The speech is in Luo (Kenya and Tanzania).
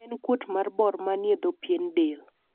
en kuot mar bor manie dho pien del